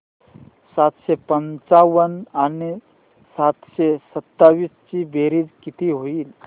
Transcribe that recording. सातशे पंचावन्न आणि सातशे सत्तावीस ची बेरीज किती होईल